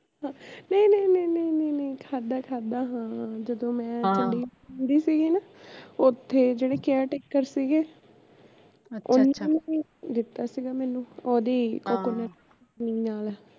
ਨਹੀਂ ਨਹੀਂ ਨਹੀਂ ਨਹੀਂ ਨਹੀਂ ਨਹੀਂ ਨਹੀਂ ਖਾਧਾ ਖਾਧਾ ਹਾਂ ਜਦੋ ਮੈਂ ਚੰਡੀਗੜ ਰਹਿੰਦੀ ਸੀ ਨਾ ਓਥੇ ਜਿਹੜੇ care taker ਸੀਗੇ ਓਹਨਾ ਨੇ ਦਿੱਤਾ ਸੀਗਾ ਮੈਨੂੰ ਓਹਦੀ coconut ਦੀ ਚਟਨੀ ਨਾਲ਼